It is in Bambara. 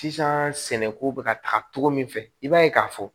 Sisan sɛnɛko bɛ ka taga cogo min fɛ i b'a ye k'a fɔ